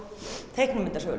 teiknimyndasögum